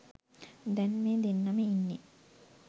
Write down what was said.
දැන් මේ දෙන්නම ඉන්නේ